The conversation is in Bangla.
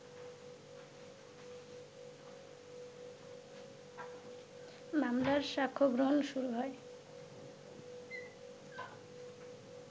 মামলার সাক্ষ্যগ্রহণ শুরু হয়